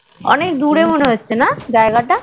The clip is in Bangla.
অনেক দূরে মনে হচ্ছে না জায়গা তা